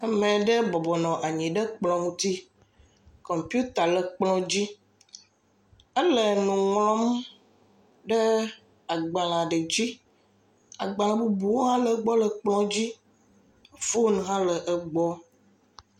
Ame ɖe bɔbɔ nɔ anyi ɖe kplɔ ŋuti, kɔmpita le dzi, ele nu ŋlɔm ɖe agbalẽ aɖe dzi, agbalẽ bubuwo hã le gbɔ le kplɔ dzi, fon hã le egbɔ.